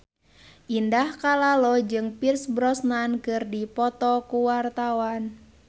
Indah Kalalo jeung Pierce Brosnan keur dipoto ku wartawan